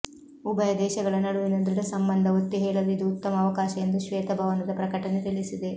ಉಭಯ ದೇಶಗಳ ನಡುವಿನ ದೃಢ ಸಂಬಂಧ ಒತ್ತಿ ಹೇಳಲು ಇದು ಉತ್ತಮ ಅವಕಾಶ ಎಂದು ಶ್ವೇತ ಭವನದ ಪ್ರಕಟಣೆ ತಿಳಿಸಿದೆ